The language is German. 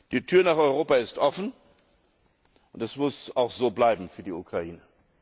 Die Tür nach Europa ist offen, und das muss auch so bleiben für die Ukraine.